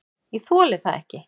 """Ég þoli það ekki,"""